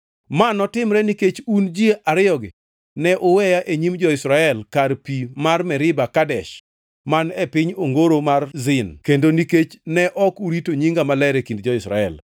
Ma notimore nikech un ji ariyogi ne uweya e nyim jo-Israel kar pi mar Meriba Kadesh man e piny ongoro mar Zin kendo nikech ne ok urito nyinga maler e kind jo-Israel.